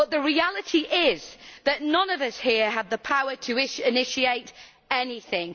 But the reality is that none of us here have the power to initiate anything.